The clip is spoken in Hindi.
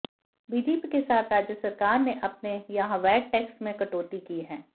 बीजेपी के साथ राज्य सरकार ने अपने यहां वैट टेक्स में कटौती की है